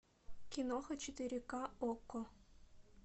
киноха четыре ка окко